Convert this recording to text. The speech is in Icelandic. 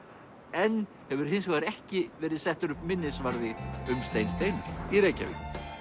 enn hefur hins vegar ekki verið settur upp minnisvarði um Stein Steinarr í Reykjavík